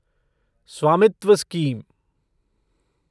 स्वामित्व स्कीम